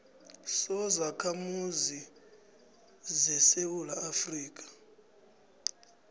sobakhamuzi besewula afrika